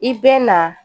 I bɛ na